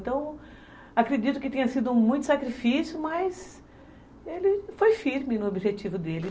Então, acredito que tenha sido muito sacrifício, mas ele foi firme no objetivo dele.